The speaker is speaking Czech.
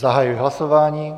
Zahajuji hlasování.